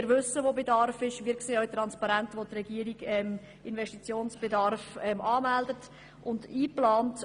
Wir wissen, wo Bedarf besteht, und sehen auch, wo die Regierung Investitionsbedarf anmeldet und einplant.